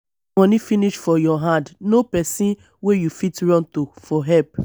if money finish for your hand know person wey you fit run to for help